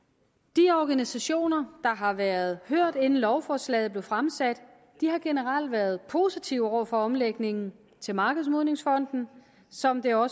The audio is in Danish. de organisationer der har været hørt inden lovforslaget blev fremsat har generelt været positive over for omlægningen til markedsmodningsfonden som det også